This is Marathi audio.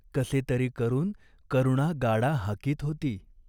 कसे तरी करून करुणा गाडा हाकीत होती.